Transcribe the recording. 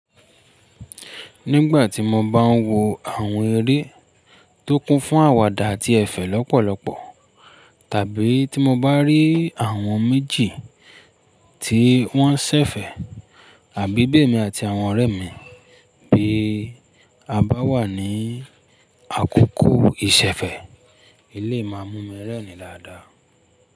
Nígbà tí mo bá ń wo àwọn eré tó kún fún àwàdà àti ẹ̀fẹ̀ lọ́pọ̀lọpọ̀, tàbí tí mo bá rí àwọn méjì tí wọ́n ń ṣẹ̀fẹ̀, àbí bì emi àti àwọn ọ̀rẹ́ mi bí a bá wà ní àkókò ìṣẹ̀fẹ̀, ilé máa mú mi rẹ́rìn-ín dáadáa.